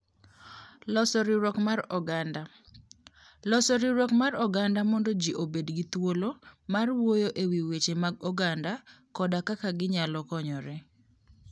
Loso riwruok mar oganda: Loso riwruok mar oganda mondo ji obed gi thuolo mar wuoyo e wi weche mag oganda koda kaka ginyalo konyore.